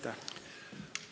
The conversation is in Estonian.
" Aitäh!